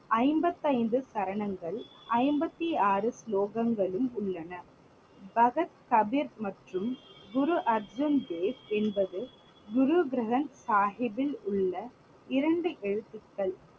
ஐம்பத்தைந்து சரணங்கள் ஐம்பத்து ஆறு ஸ்லோகங்களும் உள்ளன. பகத் கபிர் மற்றும் குரு அர்ஜுன் தேவ் என்பது குரு கிரந்த் சாஹிப்பில் உள்ள இரண்டு எழுத்துக்கள்.